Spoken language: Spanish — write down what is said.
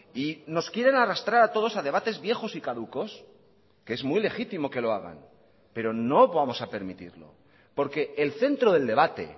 y nos quieren arrastrar a todos a debates viejos y caducos que es muy legítimo que lo hagan pero no vamos a permitirlo porque el centro del debate